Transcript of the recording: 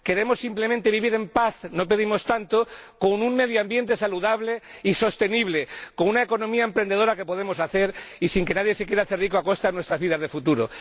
Queremos simplemente vivir en paz —no pedimos tanto—, con un medio ambiente saludable y sostenible, con una economía emprendedora y sin que nadie se quiera hacer rico a costa de nuestras vidas en el futuro.